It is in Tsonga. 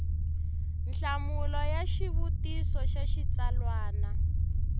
nhlamulo ya xivutiso xa xitsalwana